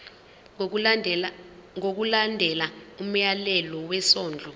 ngokulandela umyalelo wesondlo